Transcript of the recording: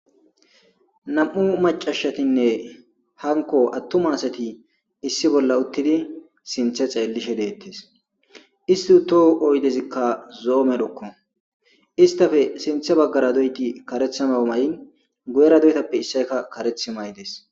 Nam'u macashatinne hanko attuma asati issi bolla uttidi sinthe xeellishe deettes isti utoh oydezikka zoo medhokko istafe sinthe baggara doyti karethama may'in gu'era doytappe issayka kareth may'des.